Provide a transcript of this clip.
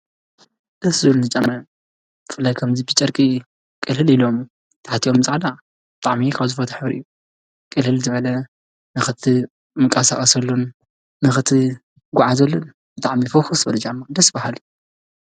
ደስ ዝብሉ ጫማ ኸምዙይ ብጨርቂ ቅልህል ኢሎም ናይ ታሕትኦም በፃዕዳ ጣዕሚኽኣዝፈትኅብሪእዩ ቅልል ዝዕለ ንኽቲ ምቃሣቐሰሉን ንኽቲ ጐዓ ዘሉን ጥዕሚይ ፈኹስ በለጃ መቕደስ በሃል።